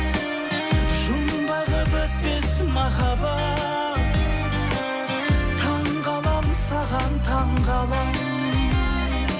жұмбағы бітпес махаббат таңғаламын саған таңғаламын